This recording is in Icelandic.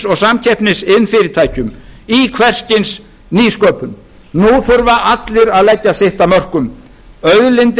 og samkeppnisiðnfyrirtækjum í hvers kyns nýsköpun nú þurfa allir að leggja sitt af mörkum auðlindir